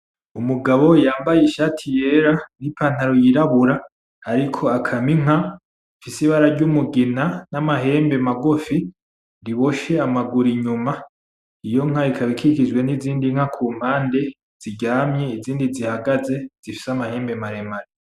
Umugabo yambaye ishati yera, n'ipantaro yirabura, ariko akama inka ifise ibara ry'umugina, n'amahembe magufi, riboshe amaguru inyuma, iyo nka ikaba ikikijwe n'izindi nka kumpande ziryamye, izindi zihagaze zifise amahembe maremare.